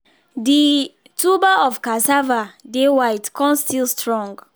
the tuber of casava dey white con still strong